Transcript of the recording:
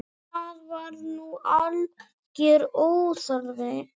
Það var nú algjör óþarfi.